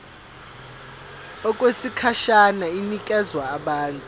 okwesikhashana inikezwa abantu